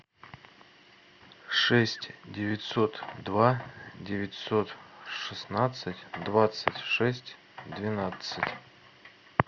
шесть девятьсот два девятьсот шестнадцать двадцать шесть двенадцать